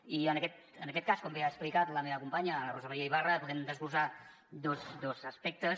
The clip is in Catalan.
i en aquest cas com bé ha explicat la meva companya la rosa maria ibarra volem desglossar dos aspectes